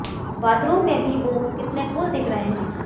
bathroom में भी वो कितने कूल दिख रहे हैं